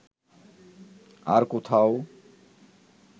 আর কোথাও